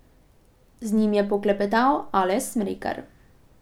Z njim je poklepetal Aleš Smrekar.